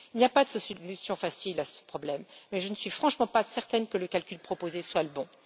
Il n'y a pas de solution facile à ce problème mais je ne suis franchement pas certaine que le calcul proposé soit le bon.